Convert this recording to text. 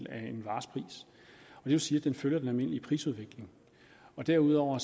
vil sige at den følger den almindelige prisudvikling derudover